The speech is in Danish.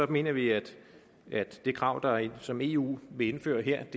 mener vi at det krav som eu vil indføre her